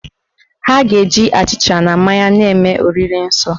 Ha ga- eji achịcha na mmanya na-eme oriri nsọ